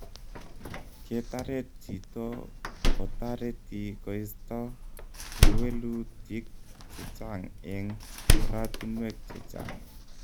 Ketaret chito kotareti koista kewelutiik chechang eng oratunwek chechang